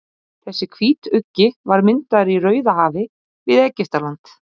þessi hvítuggi var myndaður í rauðahafi við egyptaland